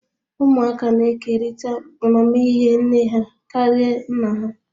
Ụmụaka na-ekerịta amamihe nne ha karịa nna ha